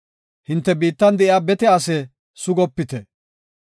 “Hinte biittan de7iya bete ase sugopite.